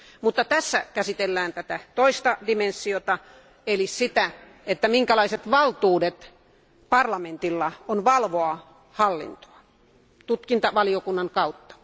Mutta nyt käsitellään toista ulottuvuutta eli sitä, minkälaiset valtuudet parlamentilla on valvoa hallintoa tutkintavaliokunnan kautta.